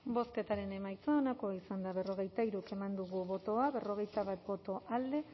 bozketaren emaitza onako izan da hirurogeita hamabost eman dugu bozka berrogeita bat boto alde